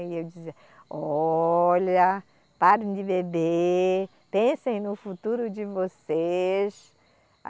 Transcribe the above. E eu dizia, olha, parem de beber, pensem no futuro de vocês.